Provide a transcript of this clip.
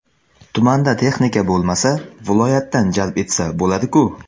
Tumanda texnika bo‘lmasa, viloyatdan jalb etsa bo‘ladi-ku.